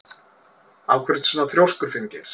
Af hverju ertu svona þrjóskur, Finngeir?